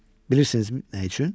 Bilirsinizmi nə üçün?